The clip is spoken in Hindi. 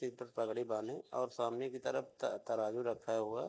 सिर पर पगड़ी बांधे और सामने की तरफ त तराजू रखा हुआ --